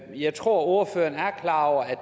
jeg tror ordføreren er klar over at